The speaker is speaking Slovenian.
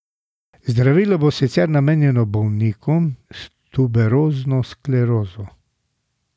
Zdravilo bo sicer namenjeno bolnikom s tuberozno sklerozo.